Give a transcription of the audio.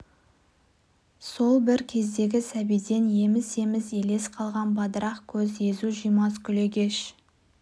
сол бір кездегі сәбиден еміс-еміс елес қалған бадырақ көз езу жимас күлегеш